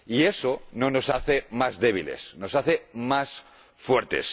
Y eso no nos hace más débiles. Nos hace más fuertes.